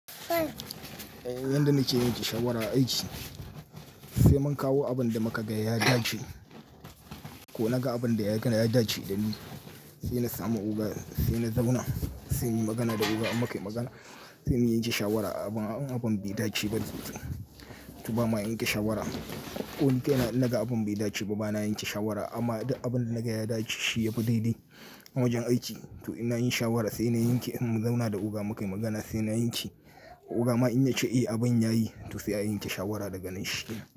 Eh yanda nake yanke shawara aiki, sai mun kawo abun da muka ga ya dace ko na ga abun da ya gani ya dace dani. Sai na samu oga, sai na zauna, sai muyi magana da oga muka yi magana. Sai muyi yanke shawara abun bai dace ba tutse. To ba ma yanke shawara. Koni kai na naga abun bai dace ba bana yanke shawara amma idan abun na ga ya dace shi ya fi daidai a wajen aiki to ina yin shawara sai na yanke. In mun zauna da oga muka yi magana sai na yanke. Oga ma in ya ce eh abun yayi to sai a yanke shawara daga nan shi ke.